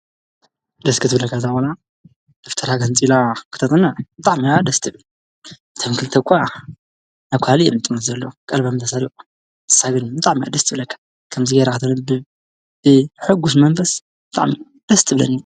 ደስ ክትብለካ እዛ ቆልል፤ ደፍተራ ገንፂላ ክተፅንዕ ብጣዕሚ እያ ደስ ትብል ፤እቶም ክልተ እኳ ናብ ካሊእ እዮም ዝጥምቱ ዘለው ቀልቦም ተሰሪቁ ንሳ ግን ብጣዕሚ እያ ደስ ትብለካ ከምዚ ጌራ ክተንብብ ብሕጉስ መንፈስ ብጣዕሚ ደስ ትብለኒ፡፡